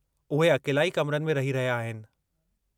उहे अकेलाई कमरनि में रही रहिया आहिनि।